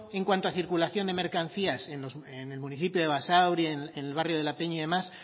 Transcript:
en cuanto a circulación de mercancías en el municipio de basauri en el barrio de la peña y demás